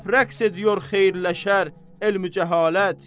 Həp rəqs ediyor xeyir-lə-şər, elm-i-cəhalət.